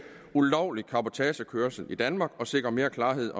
ulovlig cabotagekørsel i danmark og sikre mere klarhed